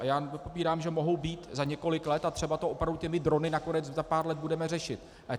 A já nepopírám, že mohou být za několik let, a třeba to opravdu těmi drony nakonec za pár let budeme řešit.